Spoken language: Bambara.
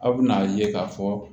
Aw bɛna a ye ka fɔ